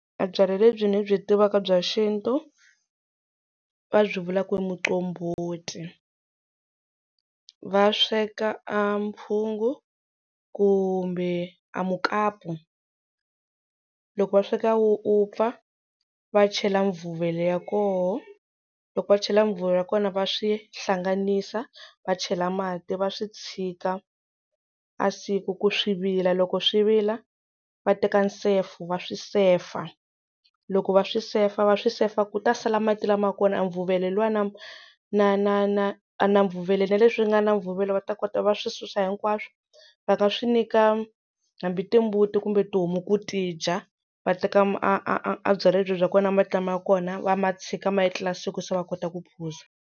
A byalwa lebyi ndzi byi tivaka bya xintu va byi vula ku i muqombhoti va sweka a mphungu kumbe a mukapu loko va sweka wu vupfa va chela mvuvelo ya koho loko va chela mvuvelo ya kona va swi hlanganisiwa va chela mati va swi tshika a siku ku swi vila loko swi vila va teka nsefo va swi sefa loko va swi sefava swi sefa ku ta sala mati lama kona a mvuvelo luwa na na na na na mvuvelo na leswi nga na mvuvelo va ta kota va swi susa hinkwaswo va nga swi nyika hambi timbuti kumbe tihomu ku tidya va teka a a a byalwa bya kona mati lama ya kona va ma tshika ma etlela siku se va kota ku phuza.